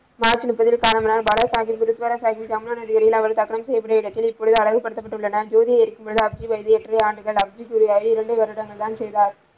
March முப்பதில் காலமானார் பாலா சாகிப் குரு துவாராகிப்பின் அவர் அடக்கம் செய்யப்பட்டுள்ள இடத்தில் இப்பொழுது அழகுப்படுத்தப்பட்டுள்ளனர் ஜோதி ஏற்கும் விழா இரண்டு வருடங்கள் தான் செய்தார்.